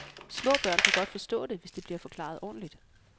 Små børn kan godt forstå det, hvis det bliver forklaret ordentligt.